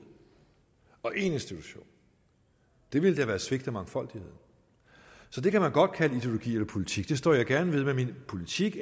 og én institution det ville da være at svigte mangfoldigheden det kan man godt kalde ideologi eller politik og jeg står gerne ved hvad min politik